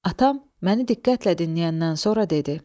Atam məni diqqətlə dinləyəndən sonra dedi: